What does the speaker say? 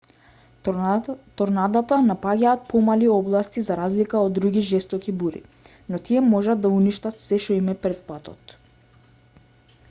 торнадата напаѓаат помали области за разлика од други жестоки бури но тие можат да уништат се` што им е пред патот